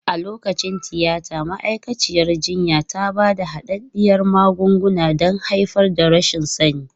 A lokacin tiyata, ma'aikaciyar jinya ta ba da hadaddiyar magunguna don haifar da rashin sani.